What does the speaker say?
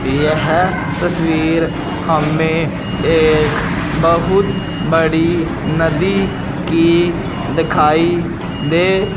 यह तस्वीर हमें एक बहुत बड़ी नदी की दिखाई दे --